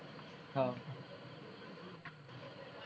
હા